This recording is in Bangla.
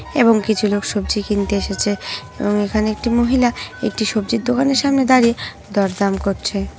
এবং কিছু লোক সবজি কিনতে এসেছে । এখানে একটি মহিলা একটি সবজির দোকানের সামনে দাঁড়িয়ে দরদাম করছে ।